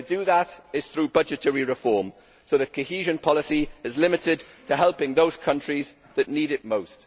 The way to do that is through budgetary reform, so that cohesion policy is limited to helping those countries that need it most.